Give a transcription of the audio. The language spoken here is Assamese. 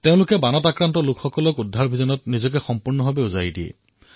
তেওঁলোকে বানত আৱদ্ধ হোৱা লোকক বচাবলৈ প্ৰয়াসৰ কোনো ক্ৰুটি কৰা নাই